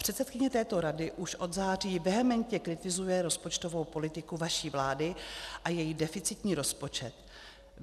Předsedkyně této rady už od září vehementně kritizuje rozpočtovou politiku vaší vlády a její deficitní rozpočet.